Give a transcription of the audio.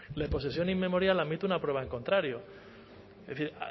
la posesión inmemorial admite una prueba en contrario es decir